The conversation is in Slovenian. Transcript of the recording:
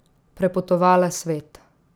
Prepotovala svet.